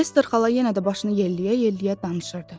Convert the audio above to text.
Ester xala yenə də başını yelləyə-yelləyə danışırdı.